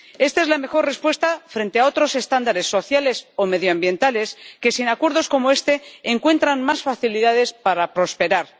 Esta es la mejor respuesta frente a otros estándares sociales o medioambientales que, sin acuerdos como este, encuentran más facilidades para prosperar.